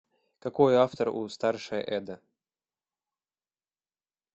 какой автор у старшая эдда